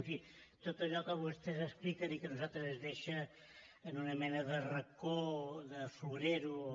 en fi tot allò que vostès expliquen i que a nosaltres ens deixa en una mena de racó de florero o